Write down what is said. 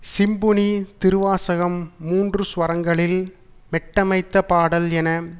symphony Thiruvasagam மூன்று ஸ்வரங்களில் மெட்டமைத்த பாடல் என